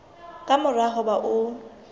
ka mora ho ba o